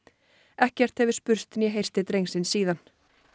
ekkert hefur spurst né heyrst til drengsins síðan